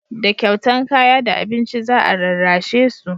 da kyautan kaya da abinci za a rarrashe su